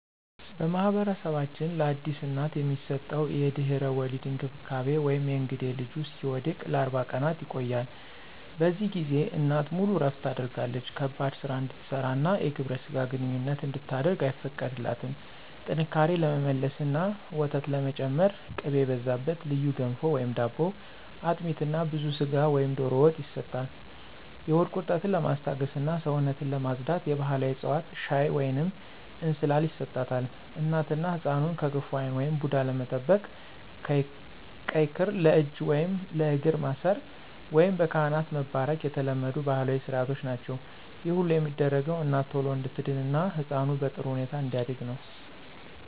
በማኅበረሰባችን ለአዲስ እናት የሚሰጠው የድህረ-ወሊድ እንክብካቤ (የእንግዴ ልጁ እስኪወድቅ) ለ40 ቀናት ይቆያል። በዚህ ጊዜ እናት ሙሉ እረፍት ታደርጋለች ከባድ ሥራ እንድትሠራና የግብረ ሥጋ ግንኙነት እንድታደርግ አይፈቀድላትም። ጥንካሬ ለመመለስና ወተት ለመጨመር ቅቤ የበዛበት ልዩ ገንፎ/ዳቦ፣ አጥሚት እና ብዙ ሥጋ ወይም ዶሮ ወጥ ይሰጣል። የሆድ ቁርጠትን ለማስታገስና ሰውነትን ለማፅዳት የባሕላዊ ዕፅዋት ሻይ ወይንም እንስላል ይሰጣታል። እናትና ሕፃኑን ከክፉ ዓይን (ቡዳ) ለመጠበቅ ቀይ ክር ለእጅ ወይም ለእግር ማሰር፣ ወይም በካህን መባረክ የተለመዱ ባሕላዊ ሥርዓቶች ናቸው። ይህ ሁሉ የሚደረገው እናት ቶሎ እንድትድንና ሕፃኑ በጥሩ ሁኔታ እንዲያድግ ነው።